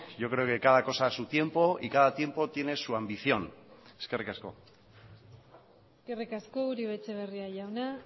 yo creo que cada cosa a su tiempo y cada tiempo tiene su ambición eskerrik asko eskerrik asko uribe etxebarria jauna